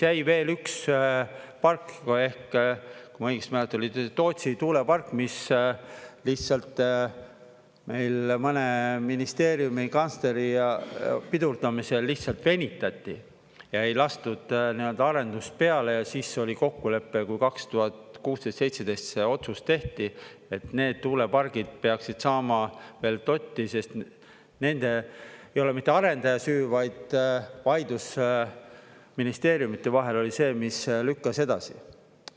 Jäi veel üks park, kui ma õigesti mäletan, oli Tootsi tuulepark, mis lihtsalt meil mõne ministeeriumi kantsleri pidurdamisel lihtsalt venitati ja ei lastud arendust peale ja siis oli kokkulepe, kui 2016–2017 see otsus tehti, et need tuulepargid peaksid saama veel dotti, sest nendel ei ole mitte arendaja süü, vaid vaidlus ministeeriumide vahel oli see, mis lükkas edasi.